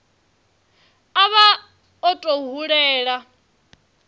a vha o tou hulela